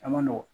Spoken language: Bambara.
A man nɔgɔn